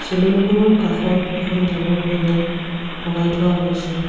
চেলুনখনৰ কাষত এখন ডাঙৰ বেনাৰ লগাই থোৱা হৈছে।